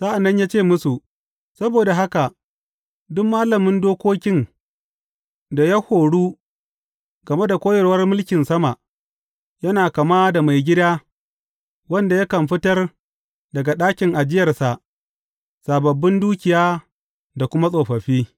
Sa’an nan ya ce musu, Saboda haka duk malamin dokokin da ya horu game da koyarwar mulkin sama, yana kama da maigida wanda yakan fitar daga ɗakin ajiyarsa sababbin dukiya da kuma tsofaffi.